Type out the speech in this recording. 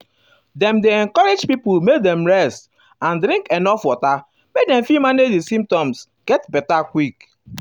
dem um dey encourage pipo make dem rest and um drink enuf water make dem fit manage di symptoms get beta quick.